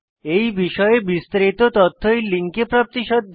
এই বিষয়ে বিস্তারিত তথ্য এই লিঙ্কে প্রাপ্তিসাধ্য